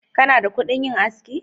Kana da kudin yin aski.